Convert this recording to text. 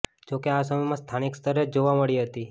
જોકે આ સમસ્યા સ્થાનિક સ્તરે જ જોવા મળી હતી